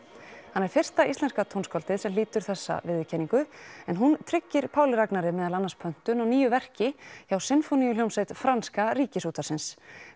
hann er fyrsta íslenska tónskáldið sem hlýtur þessa viðurkenningu en hún tryggir Páli Ragnari meðal annars pöntun á nýju verki hjá sinfóníuhljómsveit Franska Ríkisútvarpsins